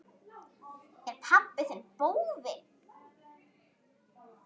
Er pabbi þinn bófi?